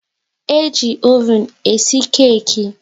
E ji oven e si keki